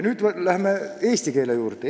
Läheme nüüd eesti keele juurde.